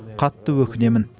қатты өкінемін